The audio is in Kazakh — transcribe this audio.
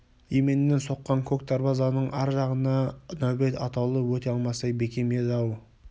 еменнен соққан көк дарбазаның ар жағына нәубет атаулы өте алмастай бекем еді-ау